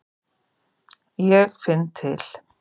Ég finn til.